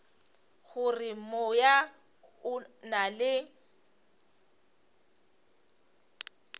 gore moya o na le